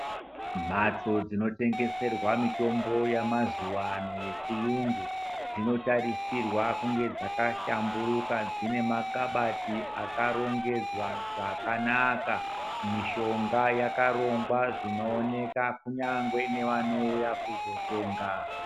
Mbatso dzinotengeserwa mitombo yamazuwano yechiyungu, dzinotarisirwa kunge dzakahlamburuka dzine ma kabati akarongedzwa zvakanaka mishonga yakarongwa zviknooneka kunyangwe nevanouya kuzotenga.